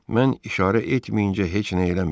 Mən işarə etməyincə heç nə eləməyin.